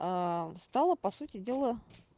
а стала по сути дела